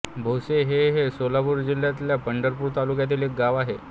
भोसे हे हे सोलापूर जिल्ह्यातल्या पंढरपूर तालुक्यातील एक गाव आहे